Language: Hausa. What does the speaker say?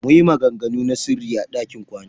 Muyi maganganu na sirri a ɗakin kwana.